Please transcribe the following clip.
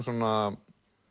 svona